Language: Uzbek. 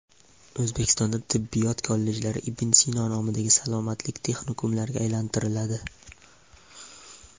O‘zbekistonda tibbiyot kollejlari Ibn Sino nomidagi salomatlik texnikumlariga aylantiriladi.